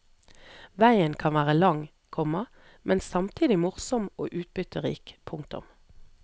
Veien kan være lang, komma men samtidig morsom og utbytterik. punktum